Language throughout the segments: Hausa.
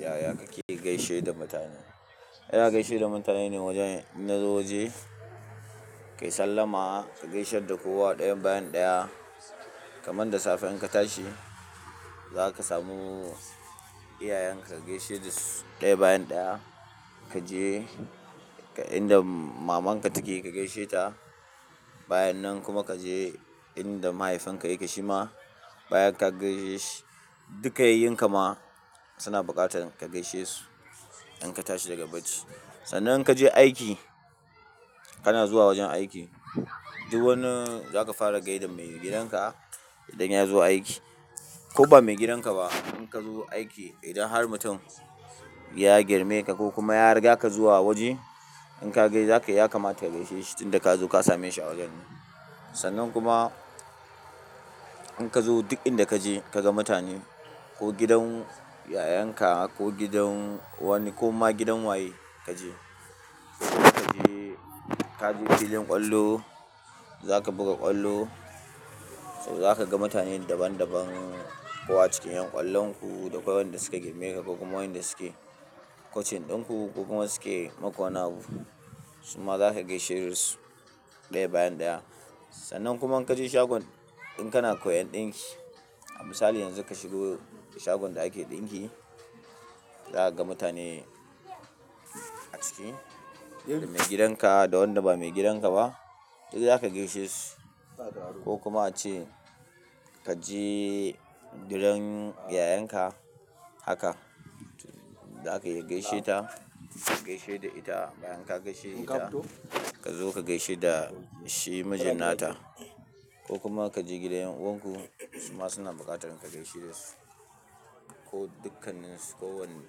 Yaya kake gaishe da mutane? Yana gaishe da mutane ne wajen na inna zo waje, ka yi sallama, ka gaisar da kowa ɗaya bayan ɗaya. Kaman da safiyar ka tashi, za ka samu iyayenka ka gaishe dasu ɗaya bayan ɗaya. Ka je inda maman ka take ka gaishe ta. Bayan nan kuma ka je inda mahaifin ka yake shi ma. Bayan ka gaishe duka yayunka ma suna bukatar ka gaishe su, in ka tashi daga bacci. Sannan in ka je aiki, kana zuwa wajen aiki, duk wani za ka fara ga idan mai gidan ka idan ya zo aiki. Ko ba maigidan ka ba, in ka zo aiki idan har mutum ya girme ka ko kuma ya riga ka zuwa wajen, in ka ga shi za ka ya kamata ka gaishe shi tun da ka zo ka same shi a wajen. Sannan kuma in ka zo duk inda ka je ka ga mutane ko gidan yayanka ko gidan wani ko ma gidan waye ka je. Ko ka je ka je filin kwallo, za ka buga kwallo, to za ka ga mutane daban daban ko a cikin 'yan ƙwallon ku da akwai wanda su ka girme ka ba kuma wanda suke kocin ɗin ku ko kuma suke makwana'u. Suma za ka gaishe dasu ɗaya bayan ɗaya. Sannan kuma in ka je shagon in kana koyan ɗinki, a misali yanzu ka shigo shagon da ake ɗinki, za ka ga mutane a ciki, mai gidan ka da wanda ba maigidan ka ba duk za ka gaishe su. Ko kuma ace ka je gidan yayanka haka, za ka iya gaishe ta, ka gaishe da ita. Bayan ka gaishe da ita, ka zo ka gaishe da shi mijin nata. Ko kuma ka je gidan 'yan'uwanku suma suna bukatar ka gaishe dasu. Ko dukkansu ko wani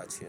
ace.